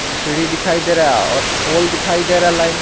सीढ़ी दिखाई दे रहा है और दिखाई दे रहा लाइन का--